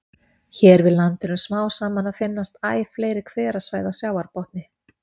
Hér við land eru smám saman að finnast æ fleiri hverasvæði á sjávarbotni.